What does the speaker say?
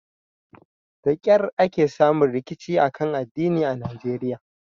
Da kyar ake samun rikici kan addini a Najeriya.